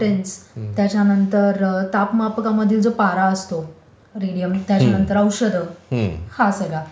त्याच्यानंतर तापमापकामधील जो पारा असतो, त्याच्यानंतर औषधं हा सगळा